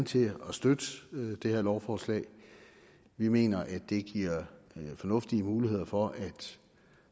til at støtte det her lovforslag vi mener at det giver fornuftige muligheder for at